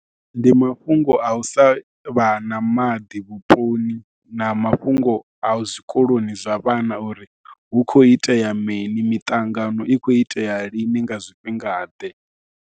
Ndi mafhungo a u sa vha na maḓi vhuponi na mafhungo a zwikoloni zwa vhana uri hu khou itea mini, miṱangano i khou itea lini nga zwifhingaḓe.